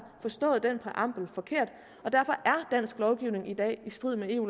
forstået den præambel forkert og derfor er dansk lovgivning i dag i strid med eu